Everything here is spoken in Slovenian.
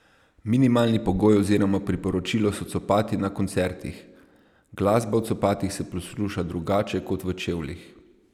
Minimalni pogoj oziroma priporočilo so copati na koncertih: "Glasba v copatih se posluša drugače kot v čevljih.